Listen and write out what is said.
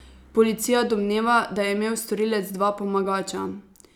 Policija domneva, da je imel storilec dva pomagača.